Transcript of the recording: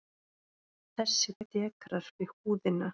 Þessi dekrar við húðina.